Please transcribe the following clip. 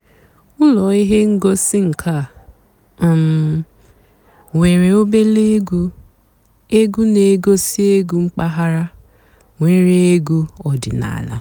ụ́lọ́ íhé ǹgósì ǹká um nwèré òbèlé ègwú ègwú nà-ègosì ègwú m̀pàghàrà nwèré ègwú ọ̀dị́náàlà.